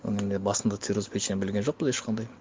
оны енді басында цирроз печени білген жоқпыз ешқандай